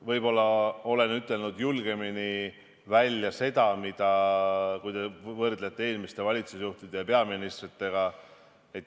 Võib-olla olen ütelnud nii mõndagi julgemini välja, kui te võrdlete eelmiste valitsusjuhtide ja peaministritega.